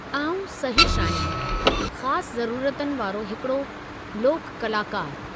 आउं सहिशु आहियां, ख़ासु ज़रूरतनि वारो हिकड़ो लोकु कलाकारु।